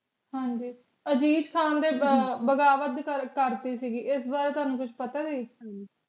ਹਾਂਜੀ ਅਜੀਤ ਖਾਨ ਦੇ ਬਗਾਵਤ ਕਰਤੀ ਸੀ ਇਸ ਬਾਰੇ ਥੋਨੂੰ ਕੁਜ ਪਤਾ ਦੀ